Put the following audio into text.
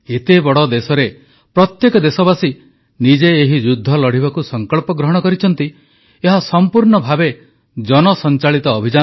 ଏତେ ବଡ଼ ଦେଶରେ ପ୍ରତ୍ୟେକ ଦେଶବାସୀ ନିଜେ ଏହି ଯୁଦ୍ଧ ଲଢ଼ିବାକୁ ସଂକଳ୍ପ ଗ୍ରହଣ କରିଛନ୍ତି ଏହା ସମ୍ପୂର୍ଣ୍ଣ ଭାବେ ଏକ ଜନସଂଚାଳିତ ଅଭିଯାନ